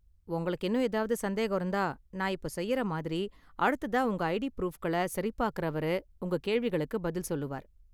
உங்களுக்கு இன்னும் ஏதாவது சந்தேகம் இருந்தா, நான் இப்போ செய்யற மாதிரி, அடுத்ததா உங்கள் ஐடி ப்ரூஃப்களை சரிபார்க்கறவர், உங்க கேள்விகளுக்குப் பதில் சொல்லுவார்.